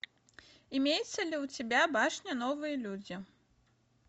имеется ли у тебя башня новые люди